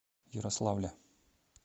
ярославля